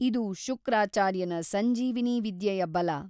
ಇದು ಶುಕ್ರಾಚಾರ್ಯನ ಸಂಜೀವಿನೀ ವಿದ್ಯೆಯ ಬಲ.